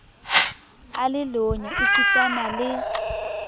a le lonya esitana le